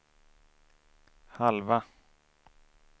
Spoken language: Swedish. halva